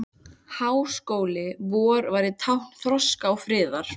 Háskóli vor væri tákn þroska og friðar.